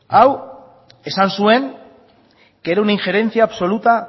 hau esan zuen que era una injerencia absoluta